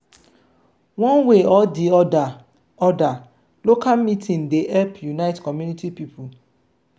one way or di oda oda local meeting dey help unite community pipo